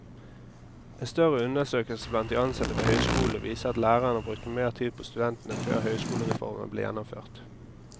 En større undersøkelse blant de ansatte ved høyskolene viser at lærerne brukte mer tid på studentene før høyskolereformen ble gjennomført.